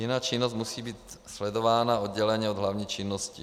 Jiná činnost musí být sledována odděleně od hlavní činnosti.